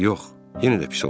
Yox, yenə də pis olacaqdı.